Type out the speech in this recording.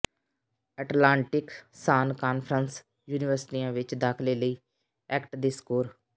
Atlantic Sun Conference ਯੂਨੀਵਰਸਿਟੀਆਂ ਵਿਚ ਦਾਖ਼ਲੇ ਲਈ ਐਕਟ ਦੇ ਸਕੋਰ